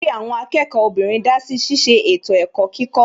Olórí àwọn akẹ́kọ̀ọ́ obìnrin dásí ṣiṣẹ́ ètò ẹ̀kọ́ kíkọ́